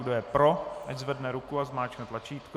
Kdo je pro, ať zvedne ruku a zmáčkne tlačítko.